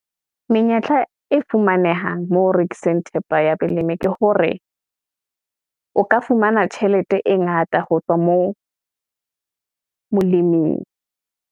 Menyetla e fumanehang, mo ho rekiseng thepa ya balemi ke hore o ka fumana tjhelete, e ngata ho tswa moo moleming.